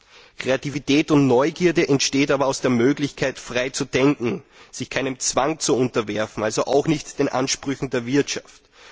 Diese entstehen aber aus der Möglichkeit, frei zu denken, sich keinem Zwang zu unterwerfen, also auch nicht den Ansprüchen der Wirtschaft.